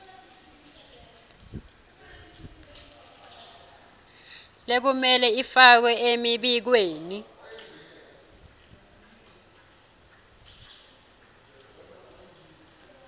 lekumele ifakwe emibikweni